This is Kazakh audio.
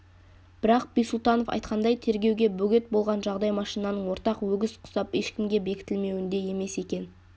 бірақ бисұлтанов айтқандай тергеуге бөгет болған жағдай машинаның ортақ өгіз құсап ешкімге бекітілмеуінде емес екен